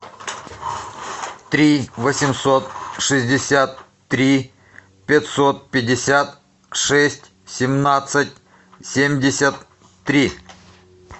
три восемьсот шестьдесят три пятьсот пятьдесят шесть семнадцать семьдесят три